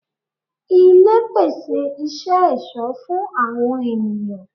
Ilé pèsè isẹ ẹ̀sọ́ fún àwọn ènìyàn